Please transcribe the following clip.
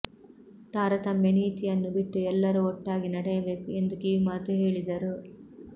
ತಾರತಮ್ಯ ನೀತಿಯನ್ನು ಬಿಟ್ಟು ಎಲ್ಲರೂ ಒಟ್ಟಾಗಿ ನಡೆಯಬೇಕು ಎಂದು ಕಿವಿಮಾತು ಹೇಳಿದರು